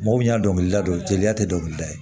Mɔgɔ min y'a dɔnkilida don jeliya tɛ dɔnkili da ye